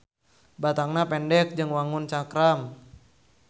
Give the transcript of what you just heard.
Batangna pendek jeung wangun cakram.